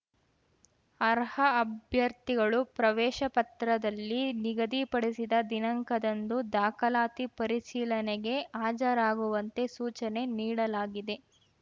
ಅರ್ಹ ಅಭ್ಯರ್ಥಿಗಳು ಪ್ರವೇಶ ಪತ್ರದಲ್ಲಿ ನಿಗಧಿಪಡಿಸಿದ ದಿನಾಂಕದಂದು ದಾಖಲಾತಿ ಪರಿಶೀಲನೆಗೆ ಹಾಜರಾಗುವಂತೆ ಸೂಚನೆ ನೀಡಲಾಗಿದೆ